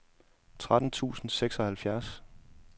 tretten tusind og seksoghalvfjerds